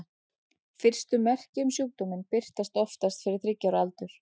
Fyrstu merki um sjúkdóminn birtast oftast fyrir þriggja ára aldur.